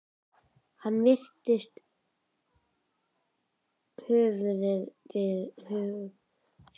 Hann hristi höfuðið við hugsunum sínum.